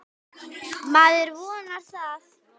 Maður vonar það.